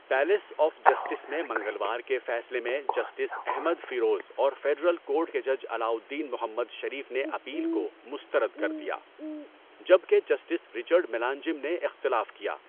Palace of justice میں منگلوار کے فیصلے میں، جسٹس احمد فیروز اور فیڈرل کورٹ کے جج علاء الدین محمد شریف نے اپیل کو مسترد کر دیا، جب کہ جسٹس رچرڈ ملانجم نے اختلاف کیا۔